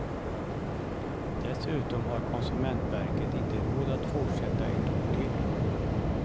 Dessutom har konsumentverket inte råd att fortsätta ett år till.